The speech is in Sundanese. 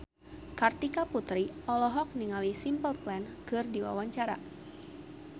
Kartika Putri olohok ningali Simple Plan keur diwawancara